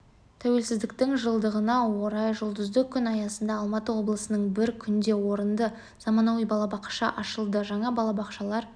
тәуелсіздіктің жылдығына орай жұлдызды күн аясында алматы облысында бір күнде орынды заманауи балабақша ашылды жаңа балабақшалар